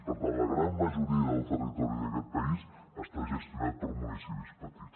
per tant la gran majoria del territori d’aquest país està gestionat per municipis petits